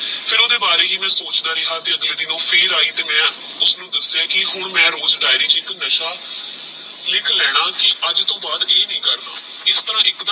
ਫਿਰ ਓਹ੍ਨ੍ਦੇ ਬਾਰੇ ਹੀ ਮੈ ਸੋਚਦਾ ਰਿਹਾ ਤੇਹ ਅਗਲੇ ਦਿਨ ਓਹ ਫਿਰ ਆਯੀ ਤੇਹ ਮੈ ਉਸਨੁ ਦਸ੍ਯ ਕੀ ਮੈ ਹੁਣ ਰੋਜ ਡਾਇਰੀ ਚ ਏਕ ਨਸ਼ਾ ਲਿਖ ਲੇਣਾ ਕੀ ਅਜੇ ਤੋਂ ਬਾਦ ਇਹ ਨੀ ਕਰਨਾ ਇਸ ਤਰਹ ਏਕ ਦਿਨ